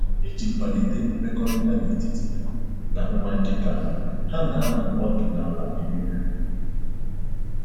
Iji kwalite mmekọrịta n'etiti ha na nwa nkịta ha, ha na-anọ ọdụ n'ala eri nri